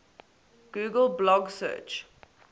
google blog search